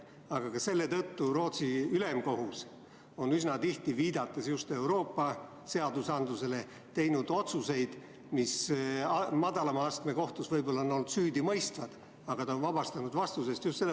Selle tõttu on Rootsi ülemkohus üsna tihti, viidates just Euroopa seadustele, teinud asjades, mille korral madalama astme kohtus on süüdi mõistetud, uued otsused ja vabastanud inimese vastutusest.